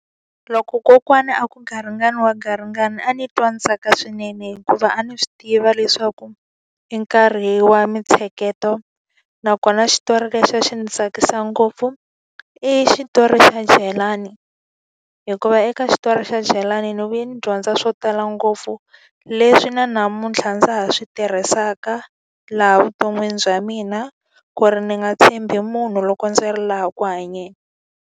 Loko kokwana a ku garingani wa garingani a ndzi twa ndzi tsaka swinene hikuva a ni swi tiva leswaku i nkarhi wa mintsheketo. Nakona xitori lexi a xi ndzi tsakisa ngopfu, i xitori xa Jelani. Hikuva eka xitori xa Jelani ni vuye ni dyondza swo tala ngopfu, leswi na namuntlha ndza ha swi tirhisaka laha vuton'wini bya mina. Ku ri ni nga tshembi munhu loko ndzi ri laha ku hanyeni.